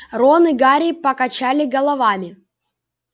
рон и гарри покачали головами